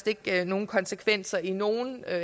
ikke har nogen konsekvenser i nogen